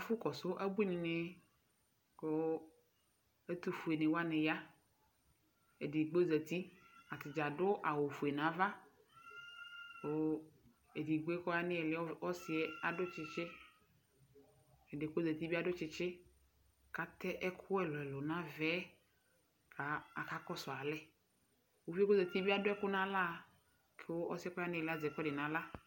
Ɛfʋkɔsʋ ebuini nɩ, kʋ ɛtʋfueni wani aya Edigbo zǝti Atadza adu awufue nʋ ava, kʋ edigbo kʋ ɔya nʋ ili, ɔsɩ, adu tsɩtsɩ Ɛdɩ yɛ kʋ ozǝti yɛ bɩ asu tsɩtsɩ Kʋ atɛ ɛkʋ ɛlʋ ɛlʋ nʋ ava yɛ, kʋ aka kɔsʋ alɛ Ɔsɩ yɛ zǝti bɩ adu ɛkʋ nʋ aɣla, kʋ ɔsɩ yɛ kʋ ozǝti yɛ bɩ adu ɛkʋɛdɩ nʋ aɣla